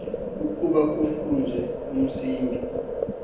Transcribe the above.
ukuba kufezwe umcimbi